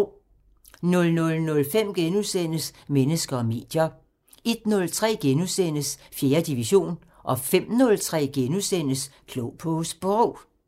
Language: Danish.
00:05: Mennesker og medier * 01:03: 4. division * 05:03: Klog på Sprog *